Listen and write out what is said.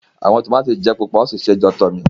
Awọn tomati jẹ pupa won si se jotomi.